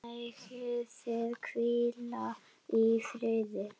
Megið þið hvíla í friði.